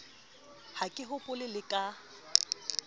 ha ke hopole le ka